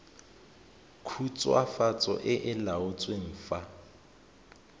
khutswafatso e e laotsweng fa